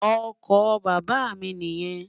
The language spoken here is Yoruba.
Ọkọ bàbá mi niyen.